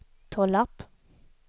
Tollarp